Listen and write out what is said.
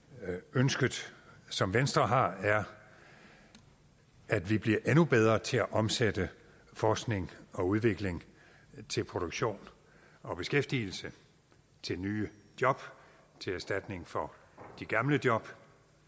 ønsket som venstre har er at vi bliver endnu bedre til at omsætte forskning og udvikling til produktion og beskæftigelse til nye job til erstatning for de gamle job